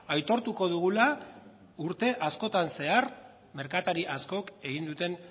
aitortuko dugula urte askotan zehar merkatari askok egin duten